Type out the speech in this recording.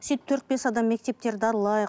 сөйтіп төрт бес адам мектептерді аралайық